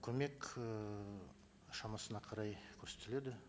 көмек ііі шамасына қарай көрсетіледі